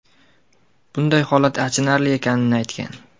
bunday holat achinarli ekanini aytgan.